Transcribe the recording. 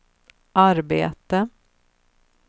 arbete